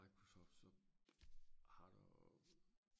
microsoft så har du